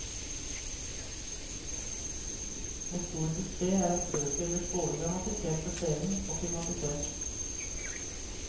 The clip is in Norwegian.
Med stor suksess er hans bøker blitt både dramatisert for scenen og filmatisert.